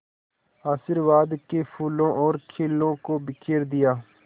आशीर्वाद के फूलों और खीलों को बिखेर दिया